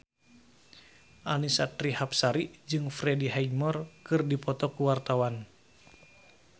Annisa Trihapsari jeung Freddie Highmore keur dipoto ku wartawan